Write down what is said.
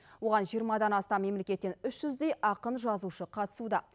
оған жиырмадан астам мемлекеттен үш жүздей ақын жазушы қатысуда